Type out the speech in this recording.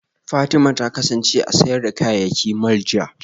Fatima ta kasance a sayar da kayayyaki mall jiya